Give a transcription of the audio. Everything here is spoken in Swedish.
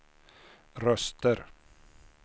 röster